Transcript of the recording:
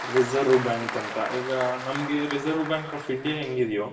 Reserve bank ಅಂತ ಈಗ ನಮ್ಗೆ Reserve bank of india ಹೆಂಗಿದ್ಯೋ.